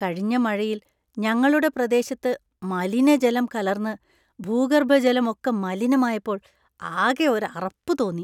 കഴിഞ്ഞ മഴയിൽ ഞങ്ങളുടെ പ്രദേശത്ത് മലിനജലം കലർന്ന് ഭൂഗർഭജലമൊക്ക മലിനമായപ്പോൾ ആകെ ഒരു അറപ്പ് തോന്നി.